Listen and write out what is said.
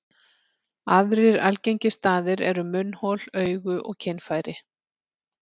Aðrir algengir staðir eru munnhol, augu og kynfæri.